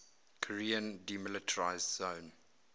korean demilitarized zone